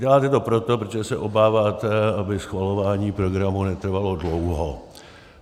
Děláte to proto, protože se obáváte, aby schvalování programu netrvalo dlouho.